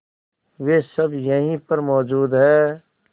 वे सब यहीं पर मौजूद है